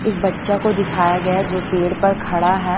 एक बच्चा को दिखाया गया जो पेड़ पर खड़ा है।